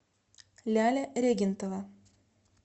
ляля регентова